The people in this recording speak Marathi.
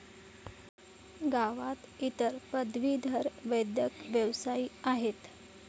गावात इतर पदवीधर वैद्यक व्यावसायी आहेत.